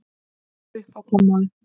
um á kommóðu.